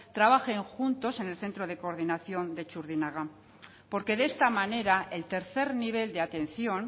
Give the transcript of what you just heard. trabajen juntos en el centro de coordinación de txurdinaga porque de esta manera el tercer nivel de atención